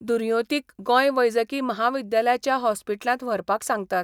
दुर्योतींक गोंय वैजकी महाविद्यालयाच्या हॉस्पिटलांत व्हरपाक सांगतात.